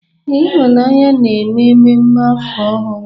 Ee, ihunna na-eme mmemme afọ ọhụrụ.